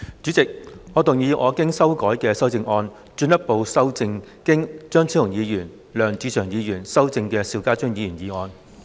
主席，我動議我經修改的修正案，進一步修正經張超雄議員及梁志祥議員修正的邵家臻議員議案。